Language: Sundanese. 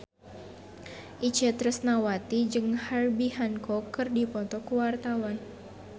Itje Tresnawati jeung Herbie Hancock keur dipoto ku wartawan